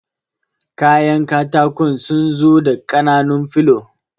Kayan katakun sunzu da ƙananun filo